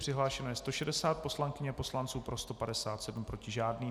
Přihlášeno je 160 poslankyň a poslanců, pro 157, proti žádný.